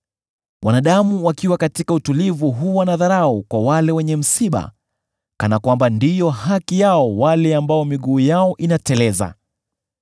Wanadamu wakiwa katika utulivu huwa na dharau kwa wale wenye msiba kana kwamba ndiyo haki ya wale ambao miguu yao inateleza.